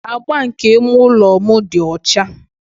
Agba nke ime ụlọ m dị ọcha.